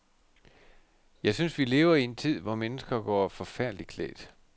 Jeg synes, vi lever i en tid, hvor mennesker går forfærdeligt klædt.